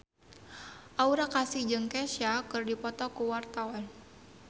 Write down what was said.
Aura Kasih jeung Kesha keur dipoto ku wartawan